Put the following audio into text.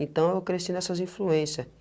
Então eu cresci nessas influência.